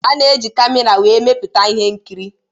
A ga-eji camera wee emeputa ihe nkiri.